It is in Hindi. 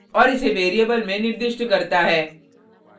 और इसे वेरिएबल में निर्दिष्ट करता है